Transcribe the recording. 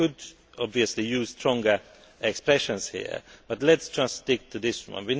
I could obviously use stronger expressions here, but let us just stick to this one.